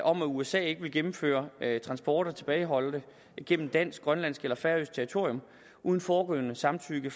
om at usa ikke vil gennemføre transporter af tilbageholdte gennem dansk grønlandsk eller færøsk territorium uden forudgående samtykke